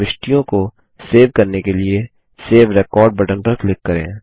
प्रविष्टियों को सेव करने के लिए सेव रेकॉर्ड बटन पर क्लिक करें